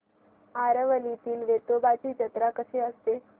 आरवलीतील वेतोबाची जत्रा कशी असते